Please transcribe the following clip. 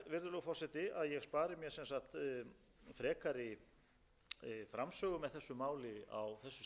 mér að vísa í hinar ítarlegu umræður sem fóru fram hér